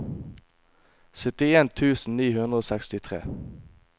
syttien tusen ni hundre og sekstitre